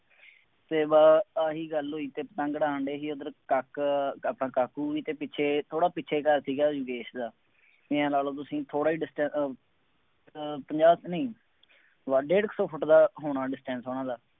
ਅਤੇ ਬਸ ਆਹੀ ਗੱਲ ਹੋਈ ਅਤੇ ਪਤੰਗ ਉਡਾਣ ਡੇ ਸੀ ਉੱਧਰ ਕੱਕ ਅਹ ਆਪਣਾ ਕਾਕੂ ਵੀ ਅਤੇ ਪਿੱਛੇ ਥੋੜ੍ਹਾ ਪਿੱਛੇ ਘਰ ਸੀਗਾ ਯੋਗੇਸ਼ ਦਾ, ਬਈ ਆਂਏਂ ਲਾ ਲਉ ਤੁਸੀਂ ਥੋੜ੍ਹਾ ਹੀ distance ਅਹ ਪੰਜਾਹ ਕੁ ਨਹੀਂ ਬਸ ਡੇਢ ਸੌ ਫੁੱਟ ਦਾ ਹੋਣਾ distance ਉਹਨਾ ਦਾ।